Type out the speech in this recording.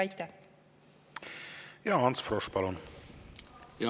Ants Frosch, palun!